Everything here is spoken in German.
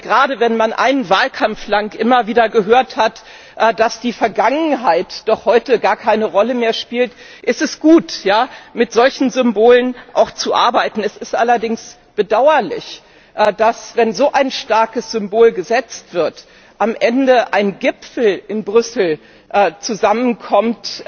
Gerade, wenn man einen Wahlkampf lang immer wieder gehört hat, dass die Vergangenheit doch heute gar keine Rolle mehr spielt, ist es gut, auch mit solchen Symbolen zu arbeiten. Es ist allerdings bedauerlich, dass, wenn ein so starkes Symbol gesetzt wird, am Ende ein Gipfel in Brüssel zusammenkommt,